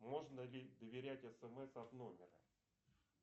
можно ли доверять смс от номера